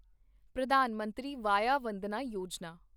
Pradhan Mantri Vaya Vandana Yojana